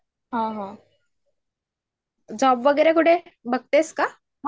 हा, हा जॉब वगैरे कुठे बगतेस का?